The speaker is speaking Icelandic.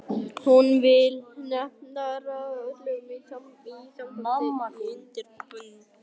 Hún vill nefnilega ráða öllu í sambandi við undirbúninginn.